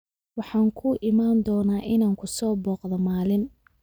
Waxaan kuu iman doonaa inaan ku soo booqdo maalin